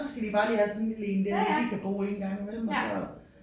Så skal de bare lige have sådan en lille en der de lige kan bo i engang imellem og så